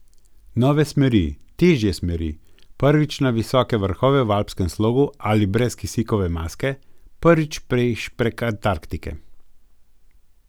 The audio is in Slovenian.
Nove smeri, težje smeri, prvič na visoke vrhove v alpskem slogu ali brez kisikove maske, prvič peš prek Antarktike ...